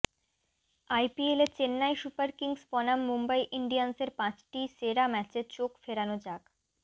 আইপিএলে Chennai Super Kings বনাম মুম্বই ইন্ডিয়ান্সের পাঁচটি সেরা ম্যাচে চোখ ফেরানো যাক